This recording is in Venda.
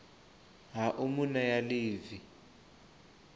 ha u mu nea ḽivi